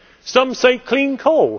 Some say clean coal.